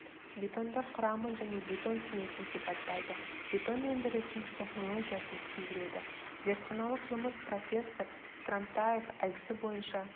бетондар құрамын және бетон смесін сипаттайды бетон өндірісінің технологиясын түсіндіреді зертханалық жұмыс профессор скрамтаев әдісі бойынша